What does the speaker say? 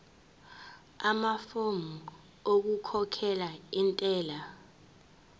amafomu okukhokhela intela